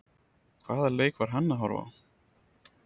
Hvaða leik var hann að horfa á?